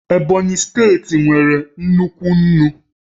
Ebonyi steeti nwere nnukwu nnu